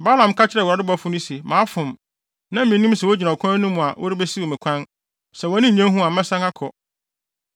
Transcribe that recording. Balaam ka kyerɛɛ Awurade bɔfo no se, “Mafom. Na minnim sɛ wugyina ɔkwan no mu a worebesiw me kwan. Sɛ wʼani nnye ho a mɛsan akɔ.”